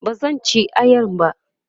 bazan ci ayan ba